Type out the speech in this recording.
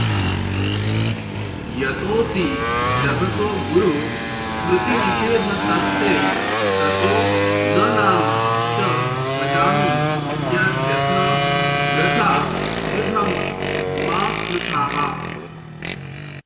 यतोऽसि जगतो गुरु स्मृतिनिषेधतस्ते ततो न नाम च भजामि यद्यथ वृथा क्रुधं मा कृथाः